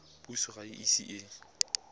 puso ga e ise e